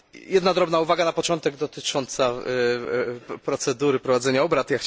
Jedna drobna uwaga na początek dotycząca procedury prowadzenia obrad.